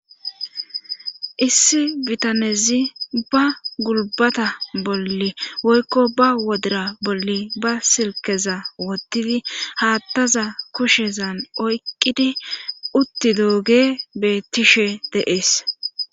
Issi bitanezi ba gulbata bolli woykko ba wodira bolli ba silkeza woddidi haattaza kushezan oyqqidi utti dooge beettishe de7ees.